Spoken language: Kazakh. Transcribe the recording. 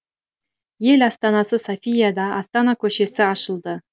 ел астанасы софияда астана көшесі ашылды